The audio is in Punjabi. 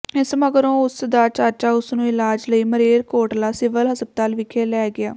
ਇਸ ਮਗਰੋਂ ਉਸ ਦਾ ਚਾਚਾ ਉਸ ਨੂੰ ਇਲਾਜ ਲਈ ਮਲੇਰਕੋਟਲਾ ਸਿਵਲ ਹਸਪਤਾਲ ਵਿਖੇ ਲੈ ਗਿਆ